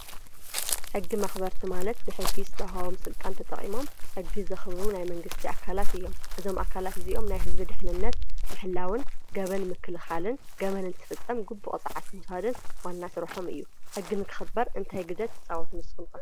ሕጊ መክበርቲ ማለት ብሕጊ ዝተዋህቦም ስልጣን ተጠቅሞም ሕጊ ዘክብሩ ናይ መንግስት ኣካላት እዮም። እዛም ኣካላት እዚኦም ናይ ህዝቢ ድሕንነት ምሕላውን ገበን ምክልካልን ገበን እንትፍፀም ግቡእ ቅፅዓት ምውሳድን ዋና ስርሖም እዩ። ሕጊ ንክክበር እንታይ ግደ ትፃወቱ ንስኩም ከ?